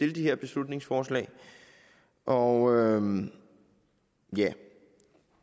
de her beslutningsforslag og ja